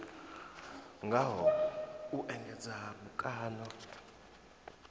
ngaho u engedza mukano wa